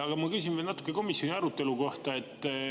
Aga mu küsimus on komisjoni arutelu kohta.